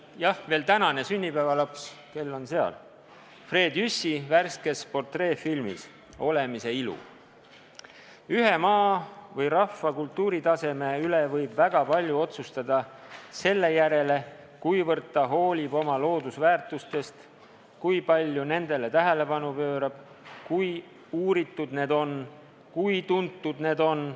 –, jah, veel tänane sünnipäevalaps Fred Jüssi värskes portreefilmis "Olemise ilu": "Ühe maa või rahva kultuuritaseme üle võib väga palju otsustada selle järgi, kuivõrd ta hoolib oma loodusväärtustest, kui palju nendele tähelepanu pöörab, kui uuritud need on, kui tuntud need on.